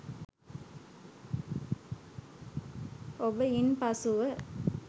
ඔබ ඉන්පසුව